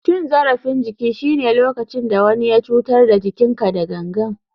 Cin zarafin jiki shine lokacin da wani ya cutar da jikinka da gangan.